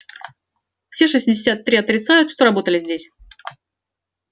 все шестьдесят три отрицают что работали здесь